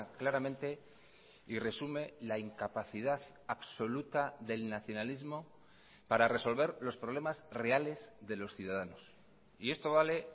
claramente y resume la incapacidad absoluta del nacionalismo para resolver los problemas reales de los ciudadanos y esto vale